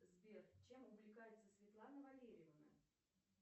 сбер чем увлекается светлана валерьевна